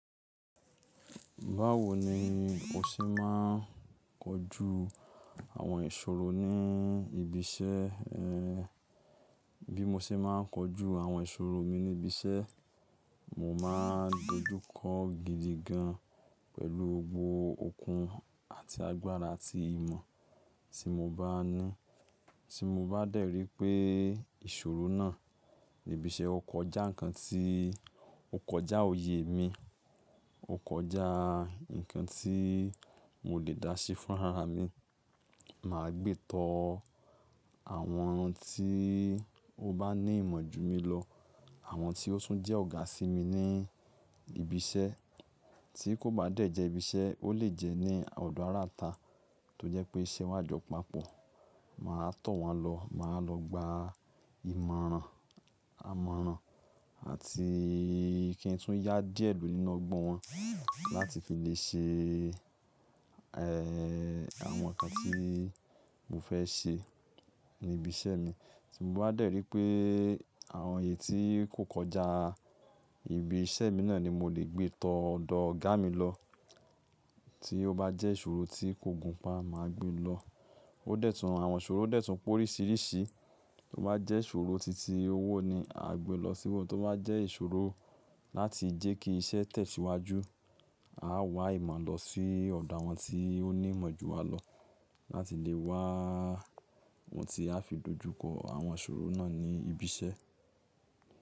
Báwo ni o ṣe máa ń kojú àwọn ìṣòro ní ibi iṣẹ́ ẹ? Bí mo ṣe máa ń kojú àwọn ìṣòro mi ní ibi iṣẹ́, mo máa dojú kọ gidi gan pẹ̀lú gbogbo okun àti agbára àti ìmọ̀ tí mo bá ní. Tí mo bá dẹ̀ rí pé ìṣòro náà ní ibi iṣẹ́ o kọjá nǹkan tí, o kọjá òye mi, o kọjá nǹkan tí mo lè dá se fún ara mi, màá gbé tọ àwọn tí ó bá ní ìmọ̀ ju mi lọ. Àwọn tí ó tún jẹ́ ọ̀gá sí mi ní ibi iṣẹ́. Tí kò bá dẹ̀ jẹ́ ibi iṣẹ́, ó lè jẹ́ ní ọ̀dọ̀ ará ata tó jẹ́ pé iṣẹ́ wa jọ papọ̀. Màá tọ̀ wọ́n lọ, màá lọ gba ìmọ̀ràn, àmọ̀ràn àti kí n tún yá díẹ̀ lù nínú ọgbọ́n wọn láti fi lè ṣe, ẹ́, àwọn nǹkan tí mo fẹ́ ṣe ní ibi iṣẹ́ mi. Tí mo bá dẹ̀ rí pé àwọn èyí tí kò kọjá ibi iṣẹ́ mi náà ni mo lè gbé tọ ọ̀dọ̀ ọ̀gá mi lọ. Tí ó bá jẹ́ ìṣòro tí kò gùn pa, màá gbé lọ. Ó dẹ́tùn àwọn ìṣòro dẹ́tùn pé oríṣiríṣi. To bá jẹ́ ìṣòro titi owó ni, à gbe lọ síbe. Tí ó bá jẹ́ ìṣòro láti jẹ́ kí iṣẹ́ tẹ̀síwájú, à wá ìmọ̀ lọ sí ọ̀dọ̀ àwọn tí ó ní ìmọ̀ ju wa lọ láti lè wá ohun tí a fi dojú kọ àwọn ìṣòro náà ní ibi iṣẹ́.